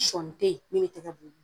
Sɔɔni te ye min be tɛgɛ bu wili